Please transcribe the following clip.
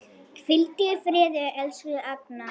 Hvíldu í friði, elsku Agnar.